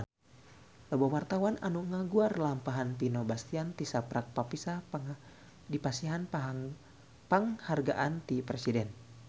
Loba wartawan anu ngaguar lalampahan Vino Bastian tisaprak dipasihan panghargaan ti Presiden